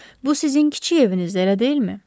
Bu sizin kiçik evinizdir, elə deyilmi?